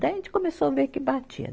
Daí a gente começou a ver que batia.